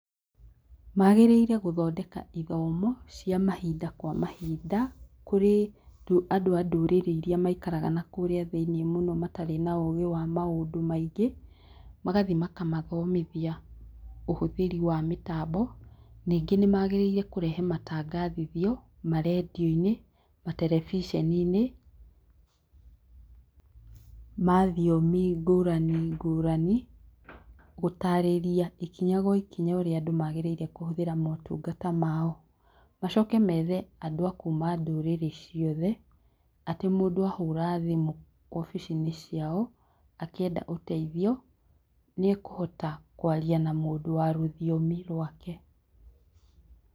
Magĩrĩire gũthondeka ithomo, cia mahinda kwa mahinda kũrĩ andũ andũrĩrĩ irĩa maikaraga kũrĩa thĩiniĩ mũno matarĩ na ũgĩ wa maũndũ maingĩ magathiĩ makamathomithia ũhũthĩri wa mĩtambo ningĩ nĩmagĩrĩire kũrehe matangathithio marendioinĩ, matarevisioninĩ ma thiomi ngũrani ngũrani gũtarĩria ikinya gwa ikinya ũrĩa magĩrĩrie motukangata mao, macoke methe andũ ma kuuma ndũrĩrĩ ciothe atĩ mũndũ ahũra thimũ obicinĩ ciao akĩenda ũteithio nĩekũhota kwaria na mũndũ wa rũthiomi rwake.